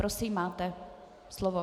Prosím, máte slovo.